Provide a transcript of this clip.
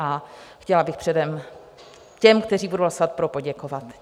A chtěla bych předem těm, kteří budou hlasovat pro, poděkovat.